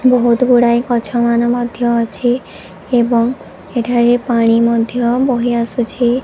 ବହୁତ ଗୁଡ଼ାଏ ଗଛମାନେ ମଧ୍ୟ ଅଛି ଏବଂ ଏଠାରେ ପାଣି ମଧ୍ୟ ବହି ଆସୁଛି